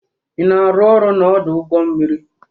Ị na-arụ ọrụ n'ọdụ ụgbọ mmiri?